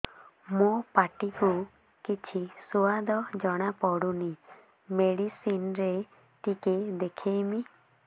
ମୋ ପାଟି କୁ କିଛି ସୁଆଦ ଜଣାପଡ଼ୁନି ମେଡିସିନ ରେ ଟିକେ ଦେଖେଇମି